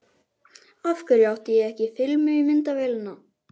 Af hverju átti ég ekki filmu í myndavélina?